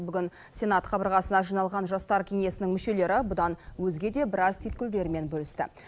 бүгін сенат қабырғасына жиналған жастар кеңесінің мүшелері бұдан өзге де біраз түйткілдермен бөлісті